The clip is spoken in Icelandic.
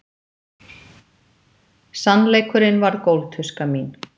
Sannleikurinn varð gólftuska mín.